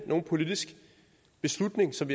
nogen politisk beslutning som